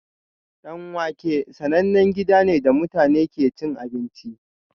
Danwake sanannen gida ne da mutane ke cin abinci